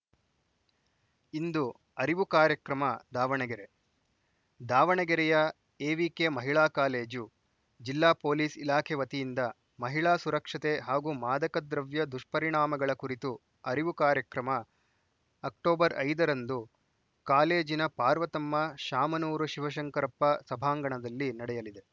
ಇಂದು ಅರಿವು ಕಾರ್ಯಕ್ರಮ ದಾವಣಗೆರೆ ದಾವಣಗೆರೆಯ ಎವಿಕೆ ಮಹಿಳಾ ಕಾಲೇಜು ಜಿಲ್ಲಾ ಪೊಲೀಸ್‌ ಇಲಾಖೆ ವತಿಯಿಂದ ಮಹಿಳಾ ಸುರಕ್ಷತೆ ಹಾಗೂ ಮಾದಕದ್ರವ್ಯ ದುಷ್ಪರಿಣಾಮಗಳ ಕುರಿತು ಅರಿವು ಕಾರ್ಯಕ್ರಮ ಅಕ್ಟೋಬರ್ ಐದರಂದು ಕಾಲೇಜಿನ ಪಾರ್ವತಮ್ಮ ಶಾಮನೂರು ಶಿವಶಂಕರಪ್ಪ ಸಭಾಂಗಣದಲ್ಲಿ ನಡೆಯಲಿದೆ